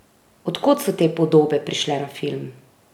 Od kod so te podobe prišle na film?